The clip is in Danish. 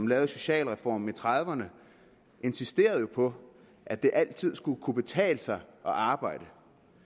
lavede socialreformen i nitten trediverne insisterede jo på at det altid skulle kunne betale sig at arbejde